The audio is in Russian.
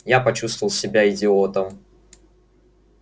я почувствовал себя идиотом